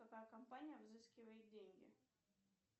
какая компания взыскивает деньги